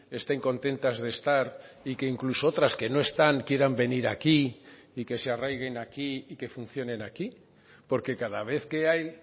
estén contentas de estar y que incluso otras que no están quieran venir aquí y que se arraiguen aquí y que funcionen aquí porque cada vez que hay